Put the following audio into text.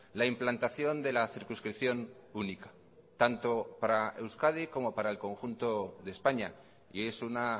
la implantación de la circunscripción única tanto para euskadi como para el conjunto de españa y es una